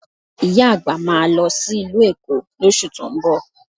Ìyá àgbà máa lọ sí ìlú Èkó lóṣù tó ń bọ̀